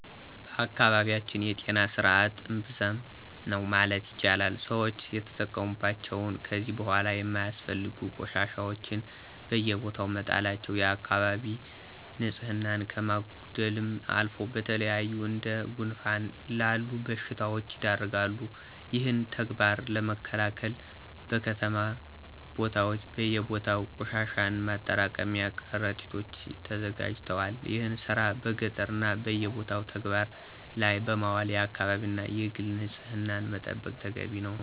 በአካባቢያችን የጤና ስርዐት እምብዛም ነው ማለት ይቻላል። ሰወች የተጠቀሙባቸውን ከዚ በኋላ የማያስፈልጉ ቆሻሻወችን በየቦታው መጣላቸው የአከባቢ ንፅህናን ከማጉደልም አልፎ ለተለያዩ እንደ ጉንፋን ላሉ በሽታወች ይዳርጋል። ይህን ተግባር ለመከላከል በከተማ ቦታወች በየቦታው ቆሻሻን ማጠራቀሚያ ቀረጢቶች ተዘጋጅተዋል። ይህን ስራ በገጠሩ እና በየቦታው ተግበባር ላይ በማዋል የአከባቢን እና የግልን ንፅህና መጠበቅ ተገቢ ነው።